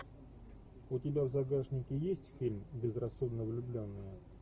у тебя в загашнике есть фильм безрассудно влюбленные